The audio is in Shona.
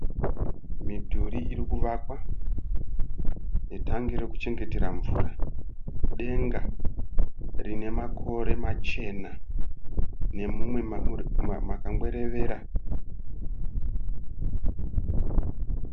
Midhuri irikuvakwa netangi rekuchengetera mvura. Denga rinemakore machena nemumwe makangwerevera.